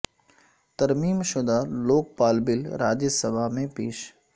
ترمیم شدہ Lokpal bill Rajya Sabha میں پیش